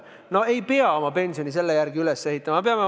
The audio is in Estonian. No ei pea me oma pensionisüsteemi selle järgi üles ehitama!